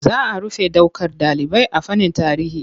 Za rufe ɗaukar ɗalibai a fannin tarihi.